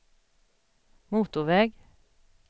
motorväg